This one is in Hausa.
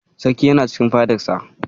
Sarkin yana cikin fadarsa.